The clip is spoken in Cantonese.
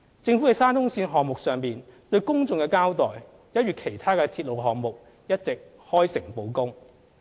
政府在沙中線項目上對公眾的交代，一如其他鐵路項目，一直開誠布公。